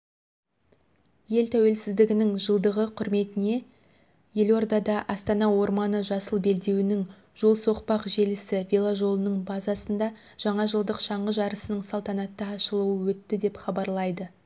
ел тәуелсіздігінің жылдығы құрметіне елордада астана орманы жасыл белдеуінің жол-соқпақ желісі веложолының базасында жаңажылдық шаңғы жарысының салтанатты ашылуы өтті деп хабарлайды